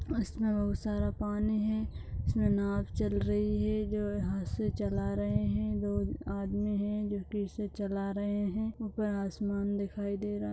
इसमें बहुत सारा पानी है इसमें नाव चल रही है जो हाथ से चला रहे है दो आदमी है जो इसे चला रहे है आसमान दिखाई दे रहा है।